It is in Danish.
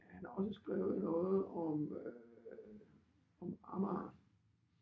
Han har også skrevet noget om øh om Amager